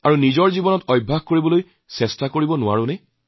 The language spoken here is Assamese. কোটি কোটি দেশবাসীৰ বিভিন্নতাক আপোন কৰি লওঁক